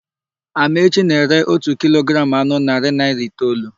Amaechi na-ere ótù kilogramụ anụ narị naịra itoolu.